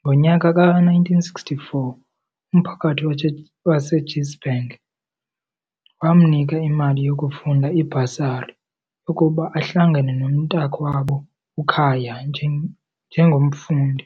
Ngonyaka ka-1964 umphakathi waseGinsberg wamnika imali yokufunda, ibhasari, yokuba ahlangane nomntakwabo uKhaya njengomfundi.